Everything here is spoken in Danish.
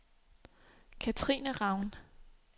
Cathrine Raun